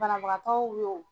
Banabagatɔw yo.